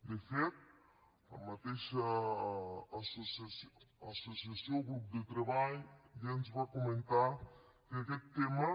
de fet la mateixa associació o grup de treball ja ens va comentar que aquest tema